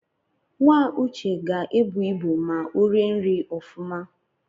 Nwa uche ga-ebu ịbụ ma o rie nri ofụma